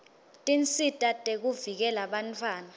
tinsita tekuvikela bantfwana